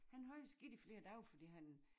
Han havde det skidt i flere dage fordi han